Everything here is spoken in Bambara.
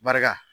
Barika